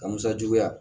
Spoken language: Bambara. Ka musa juguya